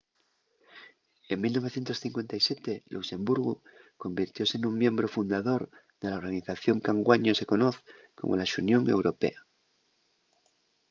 en 1957 luxemburgu convirtióse nun miembru fundador de la organización qu’anguaño se conoz como la xunión europea